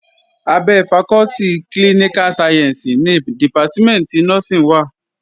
Abẹ́ fakọ́tì klíníká sayẹ̀nsì ni dìpátímẹ̀ntì nọ́ọ́sìn wà